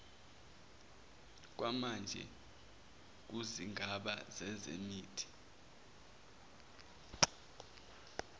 kwamanje kuzigaba zezemithi